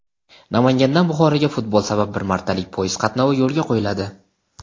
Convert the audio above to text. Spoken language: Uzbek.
Namangandan Buxoroga futbol sabab bir martalik poyezd qatnovi yo‘lga qo‘yiladi.